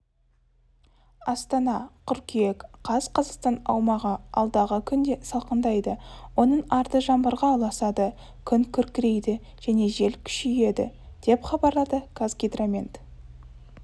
астана қыркүйек қаз қазақстан аумағы алдағы күнде салқындайды оның арты жаңбырға ұласады күн күркірейді және жел күшейеді деп хабарлады қазгидромет